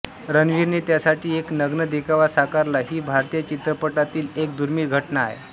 रणवीरने त्यासाठी एक नग्न देखावा साकारला ही भारतीय चित्रपटातील एक दुर्मिळ घटना आहे